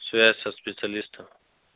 связь со специалистом